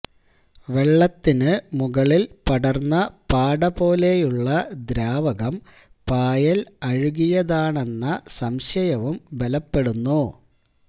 വെള്ളത്തിനു മുകളില് പടര്ന്ന പാട പോലെയുള്ള ദ്രാവകം പായല് അഴുകിയതാണെന്ന സംശയവും ബലപ്പെടുന്നു